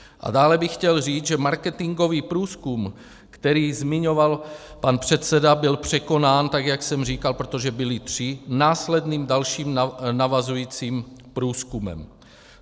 A dále bych chtěl říct, že marketingový průzkum, který zmiňoval pan předseda, byl překonán, tak jak jsem říkal, protože byly tři, následným, dalším navazujícím průzkumem.